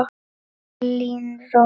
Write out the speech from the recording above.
Elín Rós.